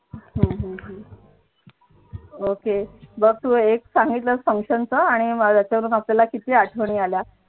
हम्म ok बघ तू एक सांगितलं function चं आणि मला त्याच्यावरून किती आठवणी आल्या.